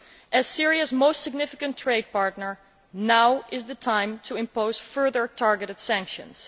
As Syria's most significant trade partner, now is the time to impose further targeted sanctions.